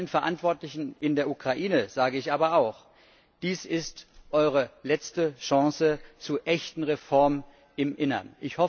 Allen Verantwortlichen in der Ukraine sage ich aber auch Dies ist eure letzte Chance zu echten Reformen im Inneren.